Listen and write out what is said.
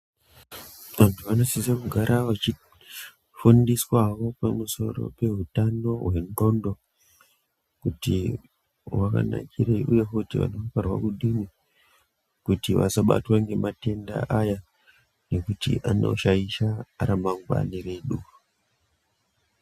Vantu vanosise kugara vachifundiswawo pamusoro peutano hwendxondo, kuti hwakanakirei ,uye futi kuti vasabatwa ngematenda aya, ngekuti anoshaisha ramangwani redu.